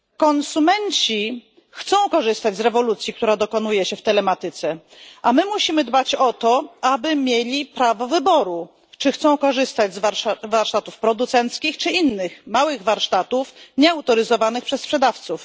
Konsumenci chcą korzystać z rewolucji, która dokonuje się w telematyce, a my musimy dbać o to, aby mieli prawo wyboru, czy chcą korzystać z warsztatów producenckich czy innych małych warsztatów nieautoryzowanych przez sprzedawców.